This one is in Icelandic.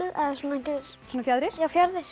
svona fjaðrir já fjaðrir